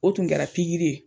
O tun kɛra pikiri ye